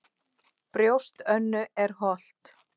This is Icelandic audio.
Brjóst Önnu er holt.